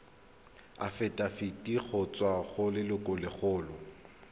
afitafiti go tswa go lelokolegolo